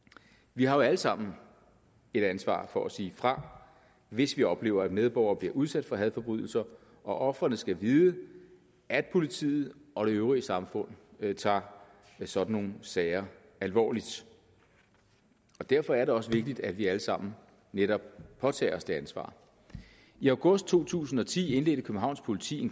vi har jo alle sammen et ansvar for at sige fra hvis vi oplever at medborgere bliver udsat for hadforbrydelser og ofrene skal vide at politiet og det øvrige samfund tager sådan nogle sager alvorligt derfor er det også vigtigt at vi alle sammen netop påtager os det ansvar i august to tusind og ti indledte københavns politi